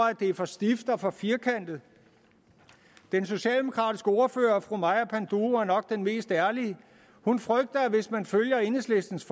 at det er for stift og for firkantet den socialdemokratiske ordfører fru maja panduro var nok den mest ærlige hun frygter at hvis man følger enhedslistens